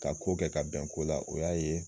Ka ko kɛ ka bɛn ko la, o y'a ye